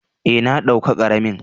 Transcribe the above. Eh, na dauka karamin.